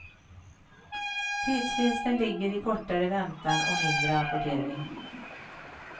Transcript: Tidsvinsten ligger i kortare väntan och mindre rapportering.